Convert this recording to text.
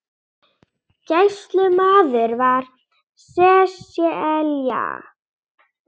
Gæslumaður var Sesselja